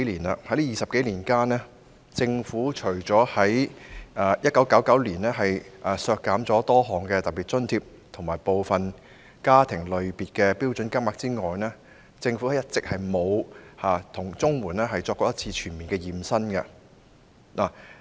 在這20多年間，政府除了在1999年削減多項特別津貼及部分家庭類別的標準金額之外，一直沒有為綜援進行全面"驗身"。